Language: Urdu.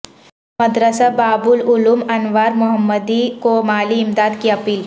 مدرسہ باب العلم انوار محمدی کو مالی امداد کی اپیل